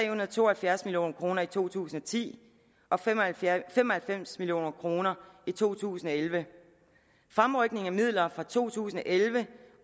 og to og halvfjerds million kroner i to tusind og ti og fem og fem og halvfems million kroner i to tusind og elleve fremrykningen af midler fra to tusind og elleve